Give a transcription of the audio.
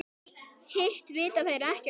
Hitt vita þeir ekkert um.